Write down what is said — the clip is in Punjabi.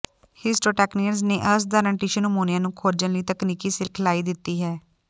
ਹਿਸਟੋਟੈੱਕਨੀਅਨਜ਼ ਨੇ ਅਸਾਧਾਰਣ ਟਿਸ਼ੂ ਨਮੂਨਿਆਂ ਨੂੰ ਖੋਜਣ ਲਈ ਤਕਨੀਕੀ ਸਿਖਲਾਈ ਦਿੱਤੀ ਹੈ